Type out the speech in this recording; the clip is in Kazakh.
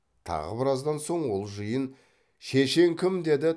тағы біраздан соң ол жиын шешен кім деді